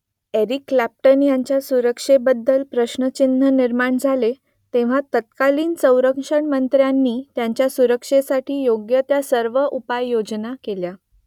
Eric Clapton यांच्या सुरक्षेबद्दल प्रश्नचिन्ह निर्माण झाले , तेव्हा तत्कालीन संरक्षणमंत्र्यांनी त्यांच्या सुरक्षेसाठी योग्य त्या सर्व उपाययोजना केल्या